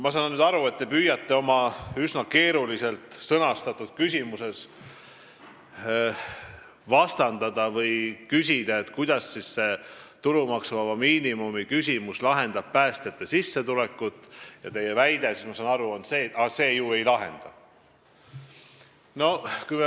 Ma saan aru, et te püüdsite oma üsna keeruliselt sõnastatud küsimuses küsida, kuidas see tulumaksuvaba miinimum lahendab päästjate sissetuleku probleemi, ja teie väide, ma saan aru, on see, et see ju ei lahenda.